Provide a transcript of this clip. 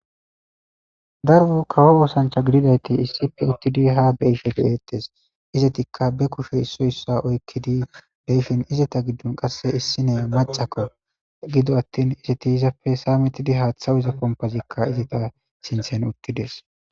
darbu kawo woosancha gididayti issippe uttidi he habe'eettes izetikka be kushe issoy issa oykkidi deyfin izeta giddun qasse issine macakko gido attin izeti izappe saa metidi haaththawuiza pompazikka izita sinthen uttides